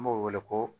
N b'o wele ko